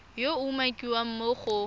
yo a umakiwang mo go